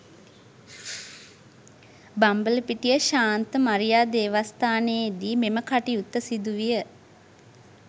බම්බලපිටිය ශාන්ත මරියා දේවස්ථානයේදී මෙම කටයුත්ත සිදු විය